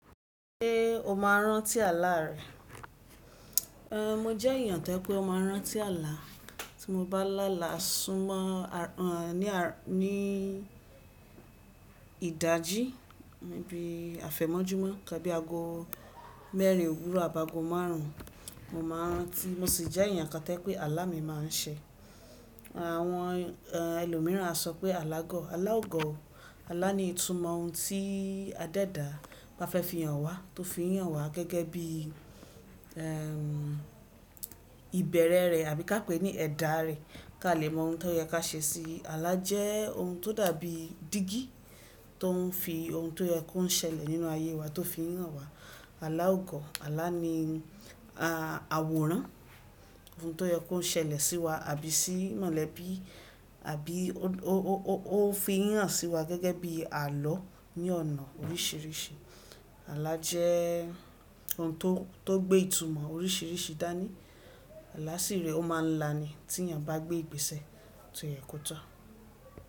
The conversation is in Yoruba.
Ṣé o máa rántí àlá rẹ? Mo jẹ́ èèyàn tó pé ó ma rán tí àlá. Tí mo bá lá alà sún mọ́ ní ìdají níbi àfẹ̀mọ́júmọ́, nnkán bí aago mẹ́rin òwúrọ̀ àbi aago márùn-ún, mo máa rántí. Mo sì jẹ́ èèyàn kan tó jẹ pé àlá mi má n ṣe. Àwọn ẹlòmíràn a sọ pé alágọ̀. Alá ó gọ̀ o, àlá ni ìtumọ̀ ohun tí adẹ́dàá ba fẹ́ fi hàn wá, tó fi hàn wá gẹ́gẹ́ bí ìbẹ̀rẹ̀ rẹ̀ àbí ká pè ní ẹ̀dà rẹ̀ kí a lè mọ ohun tó yẹ ká ṣe sí i. Àlá jẹ́ ohun tó dàbí dígí tó n fi ohun tó yẹ kó n ṣẹlẹ̀ nínú ayé wá tó fi hàn wá. Alá ò gọ̀, àlá ni àwòrán ohun tó yẹ kó n ṣẹlẹ̀ sí wa àbí sí mọ̀lẹ́bí, àbí ó fi hàn sí wa gẹ́gẹ́ bí àlọ́ ní ọ̀nà oríṣìíríṣìí. Àlá jẹ́ ohun tó gbé ìtumọ̀ oríṣìíríṣìí dání. Àlá sì rẹ̀ ó máa ń la ni tí èèyàn bá gbé ìgbésẹ̀ tó yẹ kó tọ.